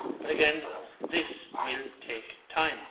But again, this will take time.